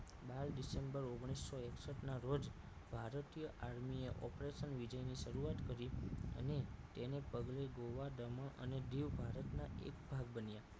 અઢાર december ઓગણીસો એકસઠ નાં રોજ ભારતીય આર્મી ઓપરેશન વિજય ની શરૂઆત કરી અને તેના પગલે ગોવા દમણ અને દીવ ભારતના એક ભાગ બન્યા